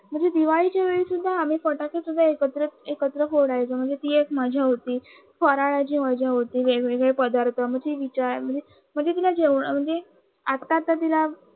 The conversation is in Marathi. म्हणजे दिवाळीच्या वेळी शुद्धा वेळेला सुद्धा आम्ही फटाके सुद्धा एकत्र फोडायचे ती एक मजा होती फराळाची मजा होती म्हणजे वेगवेगळे पदार्थ म्हणजे विचार म्हणजे तिला जेवनाच म्हणजे आता त तिला